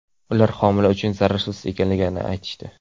Ular homila uchun zararsiz ekanligini aytishdi.